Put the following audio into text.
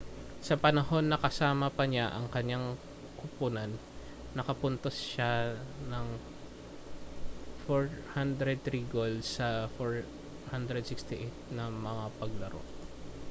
sa panahon na kasama pa niya ang kanyang kuponan nakapuntos siya ng 403 gol sa 468 na mga paglaro